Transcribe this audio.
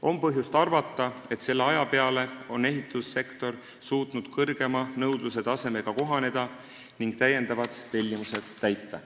On põhjust arvata, et selle aja peale on ehitussektor suutnud nõudluse kõrgema tasemega kohaneda ning täiendavad tellimused täita.